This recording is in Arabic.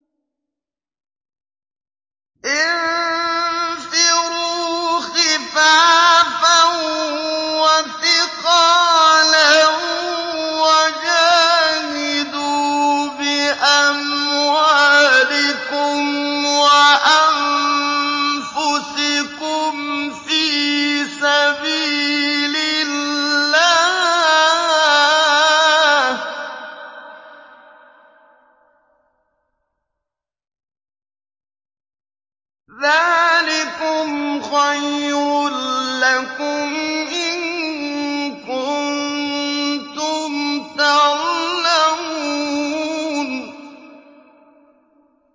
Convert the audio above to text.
انفِرُوا خِفَافًا وَثِقَالًا وَجَاهِدُوا بِأَمْوَالِكُمْ وَأَنفُسِكُمْ فِي سَبِيلِ اللَّهِ ۚ ذَٰلِكُمْ خَيْرٌ لَّكُمْ إِن كُنتُمْ تَعْلَمُونَ